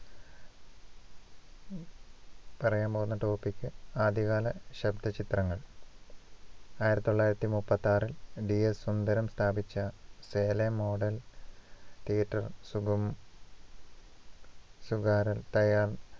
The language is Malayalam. പറയാന്‍ പോകുന്ന topic ആദ്യകാല ശബ്ദ ചിത്രങ്ങള്‍ ആയിരത്തിത്തൊള്ളായിരത്തി മുപ്പത്തിയൊന്ന് ടി. എ സുന്ദരം സ്ഥാപിച്ച model theater സുകു സുകാരാൻ തയ്യാർ